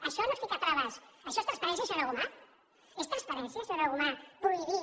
això no és ficar traves això és transparència senyora gomà és transparència senyora gomà prohibir